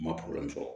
N ma fɔ